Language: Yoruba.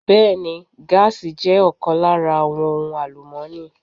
Bẹẹni, gaasi jẹ́ ọ̀kan lára àwọn ohun àlùmọ́ni.